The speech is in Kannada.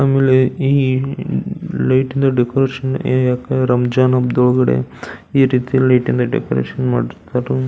ಆಮೇಲೆ ಈ ಲೈಟಿನ ಡೆಕೋರೇಷನ್ ಯಾಕ್ ರಂಜಾನ್ ಹಬ್ಬದೊಳಗಡೆ ಈರೀತಿಯ ಲೈಟಿನ ಡೆಕೋರೇಷನ್ ಮಾಡಿರತ್ತಾರೋ.